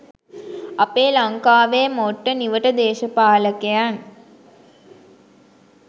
අපේ ලංකාවේ මොට්ට නිවට දේශපාලකයන්